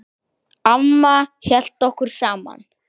Amma hélt okkur saman.